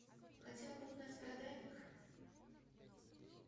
хотела бы узнать про дайвинг